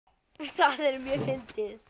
Það er mjög fyndið.